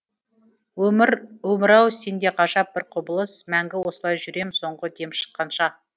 өмір өмір ау сенде ғажап бір құбылыс мәңгі осылай жүрем соңғы дем шыққанша